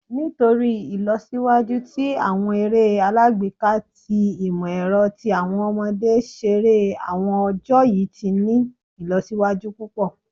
Nitori Ilọsiwaju ti awọn ere alagbeka ti imọ-ẹrọ ti awọn ọmọde ṣere awọn ọjọ yii ti ni ilọsiwaju pupọ